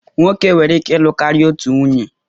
Nwoke nwere ike ịlụ karịa otu nwunye